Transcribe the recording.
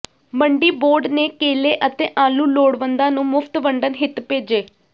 ਮੰਡੀ ਬੋਰਡ ਨੇ ਕੇਲੇ ਅਤੇ ਆਲੂ ਲੋੜਵੰਦਾਂ ਨੂੰ ਮੁਫ਼ਤ ਵੰਡਣ ਹਿੱਤ ਭੇਜੇ